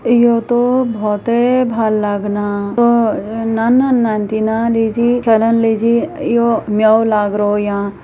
यौ तो भौते भल लागना औ न न न दिना डीजी फलन लेजी यौ मयाओ लागरो यां।